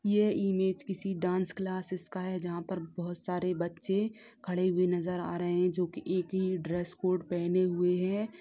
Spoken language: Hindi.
ये इमेज किसी डांस क्लाससेस का है जहाँ पर बहुत सारे बच्चे खड़े हुए नजर आ रहे हैं जो की एक ही ड्रेस कोड पहनें हुए हैं।